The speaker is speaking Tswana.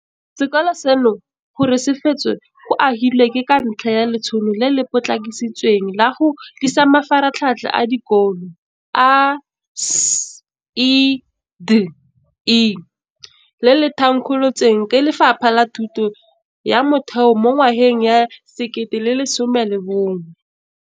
Sekolo seno gore se fetswe go agiwa ke ka ntlha ya Letsholo le le Potlakisitsweng la go Tlisa Mafaratlhatlha a Dikolo, ASIDI, le le thankgolotsweng ke Lefapha la Thuto ya Motheo mo ngwageng wa 2011.